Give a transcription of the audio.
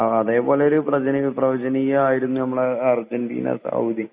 അതെ പോലെ ഒരു പ്രവചനീയം ആയിരുന്നു നമ്മളെ അർജന്റീന ആയിരുന്നു സൗദി